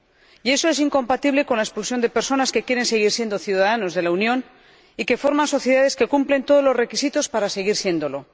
Y eso es incompatible con la expulsión de personas que quieren seguir siendo ciudadanos de la Unión y que forman sociedades que cumplen todos los requisitos para seguir siéndolo.